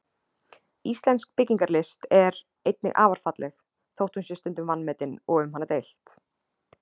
Íslensk byggingarlist er einnig afar falleg, þótt hún sé stundum vanmetin og um hana deilt.